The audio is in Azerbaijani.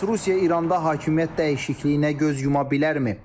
Bəs Rusiya İranda hakimiyyət dəyişikliyinə göz yuma bilərmi?